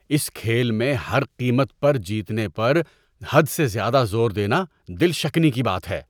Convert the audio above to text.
اس کھیل میں ہر قیمت پر جیتنے پر حد سے زیادہ زور دینا دل شکنی کی بات ہے۔